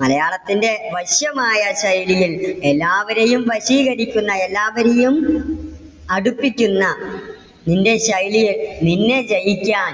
മലയാളത്തിന്റെ വശ്യമായ ചൈതന്യം എല്ലാവരെയും വശീകരിക്കുന്ന എല്ലാവരെയും അടിപ്പിക്കുന്ന നിന്റെ ശൈലിയിൽ നിന്നെ ജയിക്കാൻ